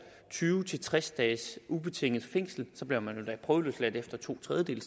tyve til tres dages ubetinget fængsel så bliver man endda prøveløsladt efter to tredjedele